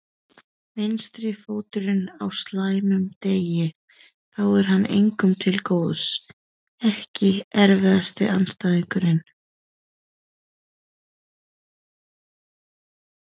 Vinstri fóturinn á slæmum degi, þá er hann engum til góðs Ekki erfiðasti andstæðingur?